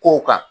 Kow kan